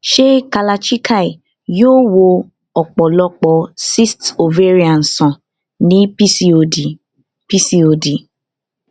ṣé kalarchikai yóò wo ọpọlọpọ cysts ovarian sàn ní pcod pcod